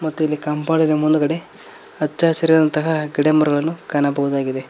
ಮತ್ತು ಇಲ್ಲಿ ಕಂಪೌಂಡಿನ ಮುಂದ್ಗಡೆ ಹಚ್ಚ ಹಸಿರಾದಾದಂತಹ ಗಿಡಮರಗಳನ್ನು ಕಾಣಬಹುದಾಗಿದೆ.